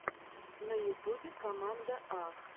на ютубе команда а